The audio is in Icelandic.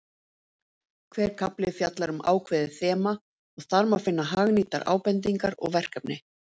Hver kafli fjallar um ákveðið þema og þar má finna hagnýtar ábendingar og verkefni.